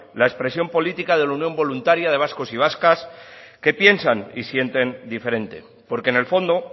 la expresión política de la unión voluntaria de vascos y vascas que piensan y sienten diferente porque en el fondo